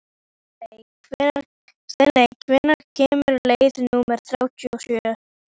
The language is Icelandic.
Stanley, hvenær kemur leið númer þrjátíu og sjö?